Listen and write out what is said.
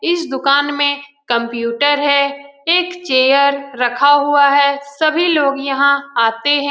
इस दूकान में कंप्यूटर है। एक चेयर रखा हुआ है सभी लोग यहाँ आते है।